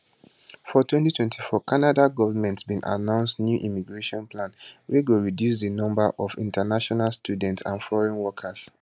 for 2024 canada govment bin announce newimmigration plan wey go reducedi number of international students and foreign workers